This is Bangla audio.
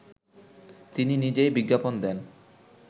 তিনি নিজেই বিজ্ঞাপন দেন